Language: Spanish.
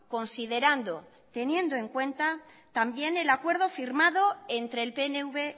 considerando y teniendo en cuenta también el acuerdo firmado entre el pnv